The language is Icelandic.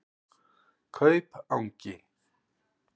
Kaupangi